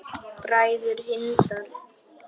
Bræður Hindar